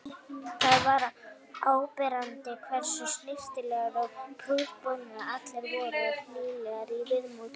Það var áberandi hversu snyrtilegir og prúðbúnir allir voru og hlýlegir í viðmóti.